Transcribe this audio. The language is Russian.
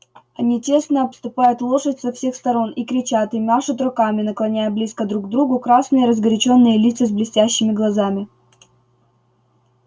они тесно обступают лошадь со всех сторон и кричат и машут руками наклоняя близко друг к другу красные разгорячённые лица с блестящими глазами